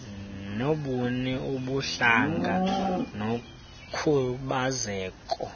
nobuni ubuhlanga nokhubazeko